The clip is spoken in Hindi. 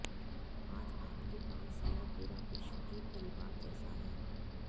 आज आपके पास यह पूरा विश्व एक परिवार जैसा है